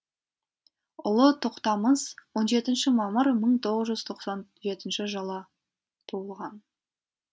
ұлы тоқтамыс он жетінші мамыр мың тоғыз жүз тоқсан жетінші жылы туылған